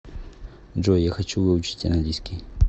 джой я хочу выучить английский